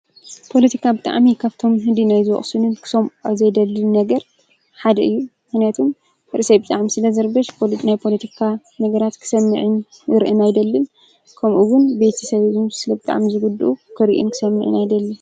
ፖለቲካ ብጣዕሚ ካብቶምን ህሊናይ ዝወቕሱኒ ካብዘይደሊ ነገር ሓደ እዩ፡፡ ምኽንያቱም ርእሰይ ብጣዕሚ ስለዝርበሽ ናይ ፖለቲካ ነገራት ክሰምዕን ክርእን ኣይደልን ከምኡውን ቤተሰበይ ውን ስለብጣዕሚ ዝጉድኡ ክርኡን ክሰምዑን ኣይደልን፡፡